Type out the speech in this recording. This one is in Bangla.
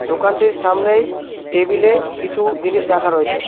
দোকানটির সামনেই টেবিলে কিছু জিনিস রাখা রয়েছে।